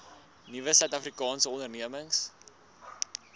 nuwe suidafrikaanse ondernemings